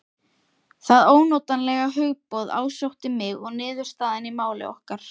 Það ónotalega hugboð ásótti mig að niðurstaðan í máli okkar